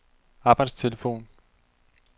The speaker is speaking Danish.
arbejdstelefon